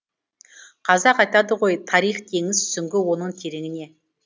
қазақ айтады ғой тарих теңіз сүңгі оның тереңіне